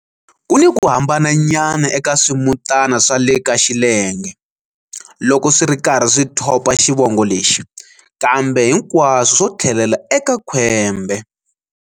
Kuni ku hambananyana eka swi mutana swa ka Xillenge loko swiri karhi swi thopa xivongo lexi, kambe hinkwaswo swo thlelela eka khwembe.